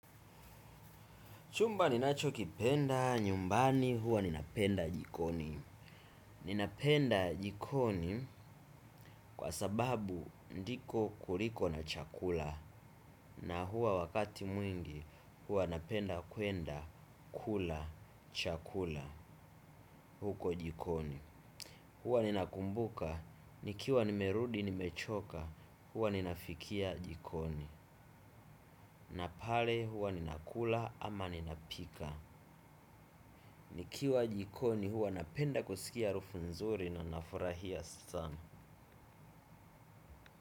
Chumba ninachokipenda, nyumbani huwa ninapenda jikoni. Ninapenda jikoni kwa sababu ndiko kuliko na chakula. Na huwa wakati mwingi huwa napenda kuenda kula chakula huko jikoni huwa ninakumbuka nikiwa nimerudi nimechoka huwa ninafikia jikoni na pale huwa ninakula ama ninapika. Nikiwa jikoni huwa napenda kusikia harufu nzuri na nafurahia sana.